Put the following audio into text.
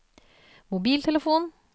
mobiltelefon